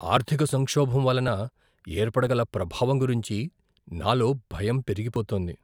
ఆర్థిక సంక్షోభం వలన ఏర్పడగల ప్రభావం గురించి నాలో భయం పెరిగిపోతోంది.